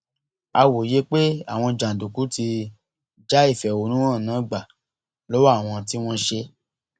a wòye pé àwọn jàǹdùkú ti já ìfẹhónú hàn náà gbà lọwọ àwọn tí wọn ń ṣe é